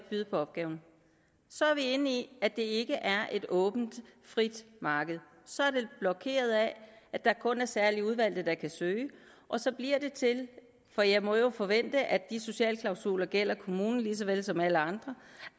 byde på opgaven så er vi inde i at det ikke er et åbent frit marked så er det blokeret af at der kun er særlig udvalgte der kan søge og så bliver det til for jeg må jo forvente at de sociale klausuler gælder kommunen lige så vel som alle andre